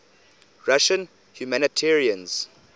russian humanitarians